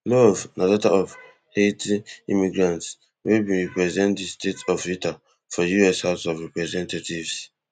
love na daughter of haiti immigrants wey bin represent di state of utah for us house of representatives